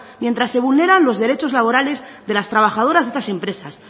mientras se vulneran los derechos laborales de las trabajadoras de estas empresas